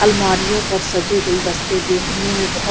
अलमारियों पर सजे गुलदस्ते देखने में बहुत--